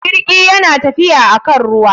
Jirgi yana tafiya akan ruwa.